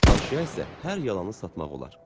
Naşıya isə hər yalanı satmaq olar.